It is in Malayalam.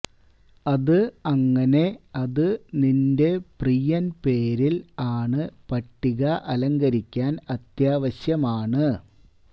അത് അങ്ങനെ അത് നിന്റെ പ്രിയൻ പേരിൽ ആണ് പട്ടിക അലങ്കരിക്കാൻ അത്യാവശ്യമാണ്